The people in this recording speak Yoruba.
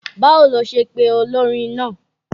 Báwo lo ṣe pe olórin naa?